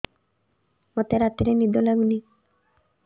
ମୋତେ ରାତିରେ ନିଦ ଲାଗୁନି